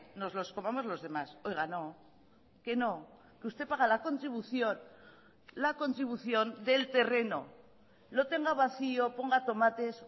nos los comamos los demás oiga no que no que usted paga la contribución la contribución del terreno lo tenga vacío ponga tomates